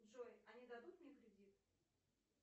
джой они дадут мне кредит